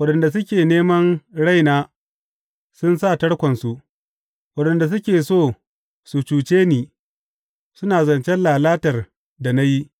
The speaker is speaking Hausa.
Waɗanda suke neman raina sun sa tarkonsu, waɗanda suke so su cuce ni suna zance lalatar da ni;